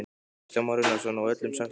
Kristján Már Unnarsson: Og öllum sagt upp?